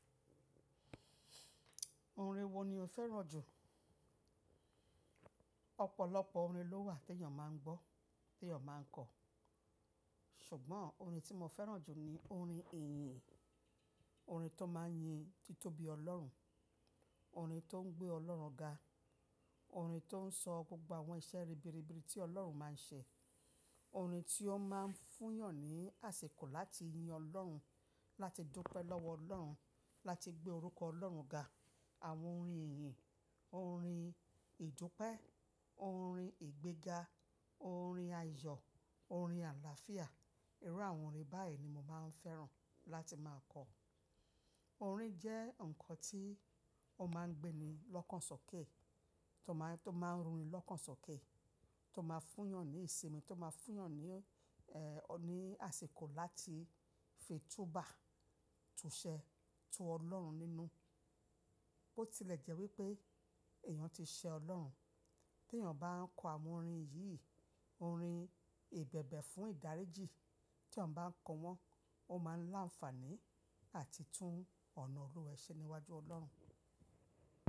Orin wo ni o fẹ́ràn jù? Ọ̀pọ̀lọpọ̀ orin ló wà tí èèyàn máa ń gbọ́, tí èèyàn máa ń kọ. Ṣùgbọ́n orin tí mo fẹ́ràn jù ni orin ìyìn, orin tó máa ń yin títóbi Ọlọ́run, orin tó ń gbé Ọlọ́run ga, orin tó ń sọ gbogbo àwọn iṣẹ́ ribiribi tí Ọlọ́run máa ń ṣe, orin tí ó máa ń fún èèyàn ní àsìkò láti yin Ọlọ́run, láti dúpẹ́ lọ́wọ́ Ọlọ́run, láti gbé orúkọ Ọlọ́run ga. Àwọn orin ìyìn, orin ìdúpẹ́, orin ìgbéga, orin ayọ̀, orin àlàáfíà, irú àwọn orin báyìí ni mo máa ń fẹ́ràn láti máa kọ. Orin jẹ́ nǹkan tí ó máa ń gbé ni lọ́kàn sọ́kè, tó máa ń, tó máa ń run ni lọ́kàn sọ́kè, tó máa fún èèyàn ní ìsinmi, tó máa fún èèyàn ní, ẹ́, ní àsìkò láti fi túbà, túṣẹ, tu Ọlọ́run nínú. Bo tilẹ̀ jẹ́ wípé èèyàn ti ṣẹ Ọlọ́run. Tí èèyàn bá ń kọ àwọn orin yìí, orin ìbẹ̀bẹ̀ fún ìdáríjì, tí èèyàn bá ń kọ wọ́n, ó máa ń láǹfààní àti tún ọ̀nà iru rẹ̀ ṣe níwájú Ọlọ́run.